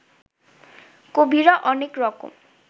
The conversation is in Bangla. কবিরা অনেক রকম